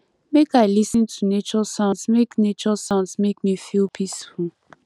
make i lis ten to nature sounds make nature sounds make me feel peaceful